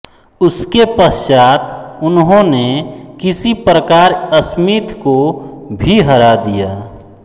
उसके पश्चात उन्होंने किसी प्रकार स्मिथ को भी हरा दिया